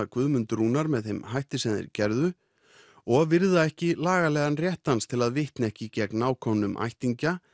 Guðmund Rúnar með þeim hætti sem þeir gerðu og virða ekki lagalegan rétt hans til að vitna ekki gegn nákomnum ættingjum